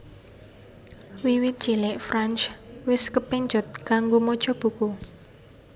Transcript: Wiwit cilik France wis kepencut kanggo maca buku